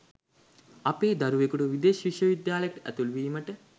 අපේ දරුවෙකුට විදෙස් විශ්ව විද්‍යාලයකට ඇතුළු වීමට